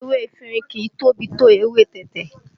Ewé efinrin kìí tóbi tó èwe tẹ̀tẹ̀